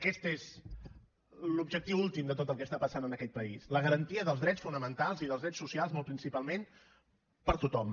aquest és l’objectiu últim de tot el que està passant en aquest país la garantia dels drets fonamentals i dels drets socials molt principalment per a tothom